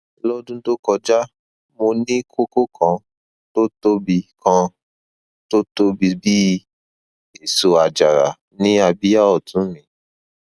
lọdún tó kọjá mo ní kókó kan tó tóbi kan tó tóbi bí èso àjàrà ní abíyá ọtún mi